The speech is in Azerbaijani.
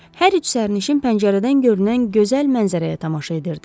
Hər üç sərnişin pəncərədən görünən gözəl mənzərəyə tamaşa edirdi.